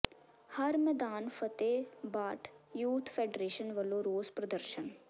ਹਰ ਮੈਦਾਨ ਫਤਹਿ ਭਾਠ ਯੂਥ ਫ਼ੈਡਰੇਸ਼ਨ ਵਲੋਂ ਰੋਸ ਪ੍ਰਦਰਸ਼ਨ